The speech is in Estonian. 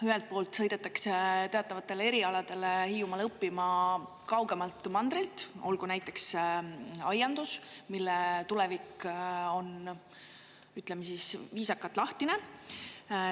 Ühelt poolt sõidetakse teatavatele erialadele Hiiumaale õppima kaugemalt mandrilt, olgu näiteks aiandus, mille tulevik on, ütleme siis viisakalt, lahtine.